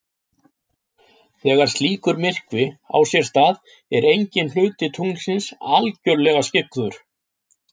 Þegar slíkur myrkvi á sér stað er enginn hluti tunglsins algjörlega skyggður.